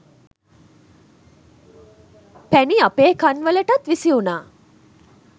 පැණි අපේ කන් වලටත් විසි වුණා